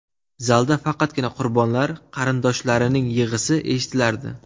Zalda faqatgina qurbonlar qarindoshlarining yig‘isi eshitilardi.